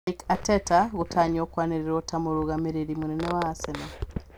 Mikel Arteta gũtanywo kwanĩrĩrwo ta mũrũgamĩrĩri mũnene wa Arsenal